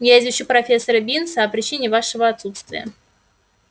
я извещу профессора бинса о причине вашего отсутствия